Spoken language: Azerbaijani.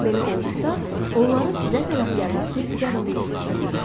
Belə olduqda, onların sizə tərəf gəlməsi zəruriyyətə çevrilir.